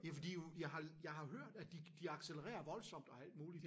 Ja fordi jo jeg har jeg har hørt at de de accelererer voldsomt og alt muligt